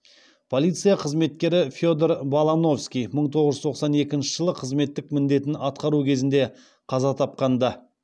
полиция қызметкері федор балановский мың тоғыз жүз тоқсан екінші жылы қызметтік міндетін атқару кезінде қаза тапқан ды